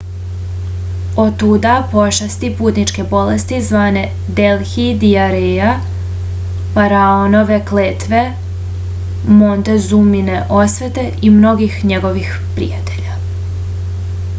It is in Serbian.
otuda pošasti putničke bolesti zvane delhi dijareja faraonove kletve montezumine osvete i mnogih njihovih prijatelja